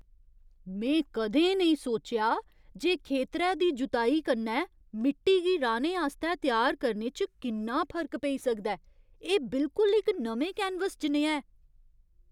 में कदें नेईं सोचेआ जे खेतरै दी जुताई कन्नै मिट्टी गी राह्ने आस्तै त्यार करने च किन्ना फर्क पेई सकदा ऐ। एह् बिलकुल इक नमें कैनवस जनेहा ऐ!